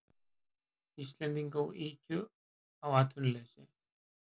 Íslendinga og ykju á atvinnuleysi.